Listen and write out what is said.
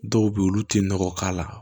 Dɔw bɛ yen olu tɛ nɔgɔ k'a la